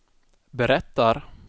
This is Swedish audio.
berättar